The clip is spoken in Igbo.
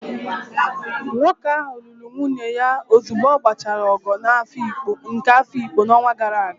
Nwoke ahụ lụrụ nwunye ya ozugbo ọ gbachara ogo nke Afikpo n'ọnwa gara aga